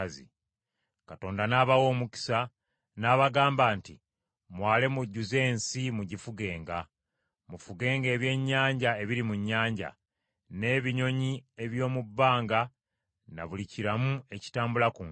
Katonda n’abawa omukisa, n’abagamba nti, “Mwale mujjuze ensi, mugifugenga. Mufugenga ebyennyanja ebiri mu nnyanja, n’ebinyonyi eby’omu bbanga na buli kiramu ekitambula ku nsi.”